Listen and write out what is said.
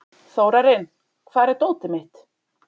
Þórarinn, hvar er dótið mitt?